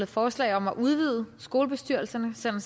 forslag om at udvide skolebestyrelserne sådan